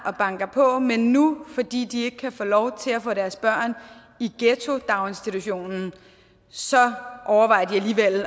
og banker på men nu fordi de ikke kan få lov til at få deres børn i ghettodaginstitutionen så overvejer de